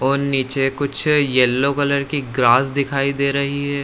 और नीचे कुछ येलो कलर की ग्रास दिखाई दे रही है।